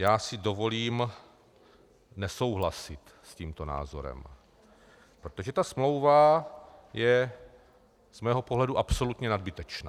Já si dovolím nesouhlasit s tímto názorem, protože ta smlouva je z mého pohledu absolutně nadbytečná.